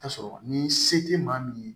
Tasɔrɔ ni se tɛ maa min ye